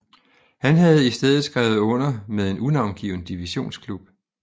Han havde i stedet skrevet under med en unavngiven divisionsklub